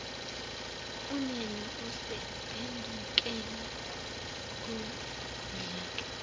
uneme usephendukela kumdlaka